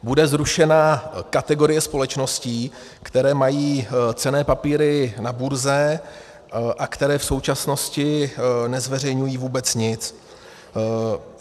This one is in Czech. Bude zrušena kategorie společností, které mají cenné papíry na burze a které v současnosti nezveřejňují vůbec nic.